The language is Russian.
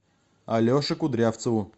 алеше кудрявцеву